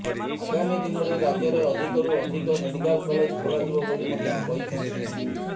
ଆଗାମୀ ଦିନରେ ରାଜ୍ୟରେ ଅଧିକରୁ ଅଧିକ ମେଡିକାଲ କଲେଜ୍ ଖୋଲାଯିବ ବୋଲି ମଧ୍ୟ କହିଛନ୍ତି ମନ୍ତ୍ରୀ